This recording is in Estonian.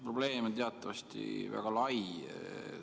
Probleem on teatavasti väga lai.